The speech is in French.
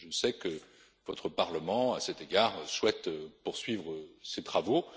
Je sais que votre Parlement, à cet égard, souhaite poursuivre ses travaux.